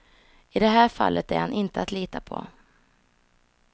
I det här fallet är han inte att lita på.